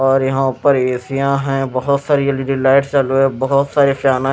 और यहां पर एसिया है बहुत सारी एल_ई_डी लाइट चालू है बहुत सारे फैन आ --